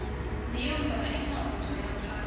miyombva i mihandzu ya kahle